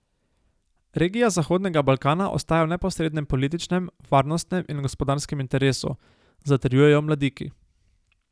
Regija Zahodnega Balkana ostaja v neposrednem političnem, varnostnem in gospodarskem interesu, zatrjujejo v Mladiki.